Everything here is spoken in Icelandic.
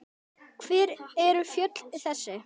Hver eru fjöll þessi?